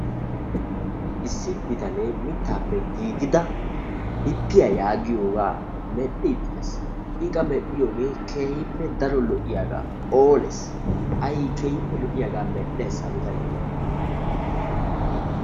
Issi biitane mittappe gigida bippiya yaagiyoga medhdhidi de'ees. I qa medhdhiyoge keehippe daro lo'iyaga; phooless. aykeehippe lo'iyaga medhdhees ha biitane.